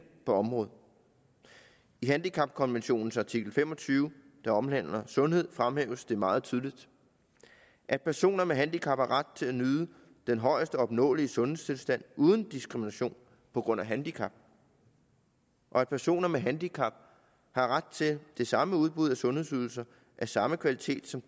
på området i handicapkonventionens artikel fem og tyve der omhandler sundhed fremhæves det meget tydeligt at personer med handicap har ret til at nyde den højest opnåelige sundhedstilstand uden diskrimination på grund af handicap og at personer med handicap har ret til det samme udbud af sundhedsydelser af samme kvalitet som